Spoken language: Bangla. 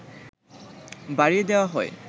বাড়িয়ে দেওয়া হয়